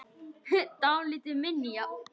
Dálítið til minja.